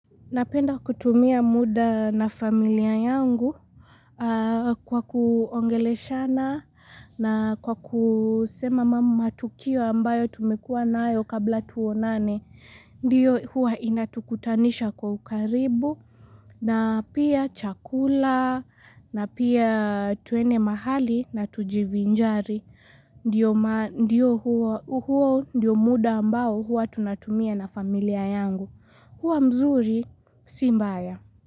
Napenda kutumia muda na familia yangu kwa kuongele shana na kwa kusema mamu matukio ambayo tumekua na ayo kabla tuonane. Ndiyo huwa inatukutanisha kwa ukaribu na pia chakula na pia tuene mahali na tujivinjari. Ndiyo huwa huko ndiyo muda ambao huwa tunatumia na familia yangu. Hwa mzuri simbaya.